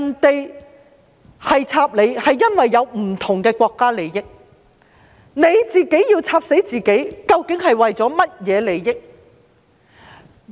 別人"插你"是因為有不同的國家利益，但你自己"插死"自己是為了甚麼利益？